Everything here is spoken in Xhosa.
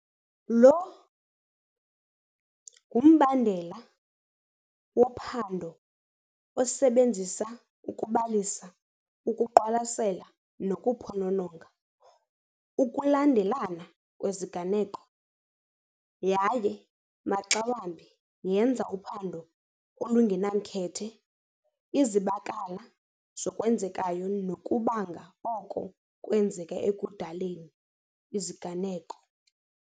Lo ngumbandela wophando osebenzisa ukubalisa ukuqwalasela nokuphonononga ukulandelana kweziganeko, yaye maxa wambi yenza uphando olungenamkhethe izibakala zokwenzekayo nokubanga oko kwenzeke ekudaleni iziganeko.